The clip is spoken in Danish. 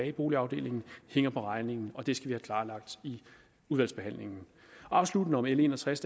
i boligafdelingen hænger på regningen og det skal vi have klarlagt i udvalgsbehandlingen afsluttende om l en og tres